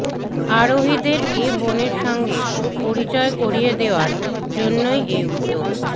আরোহীদের এ বনের সঙ্গে পরিচয় করিয়ে দেওয়ার জন্যই এ উদ্যোগ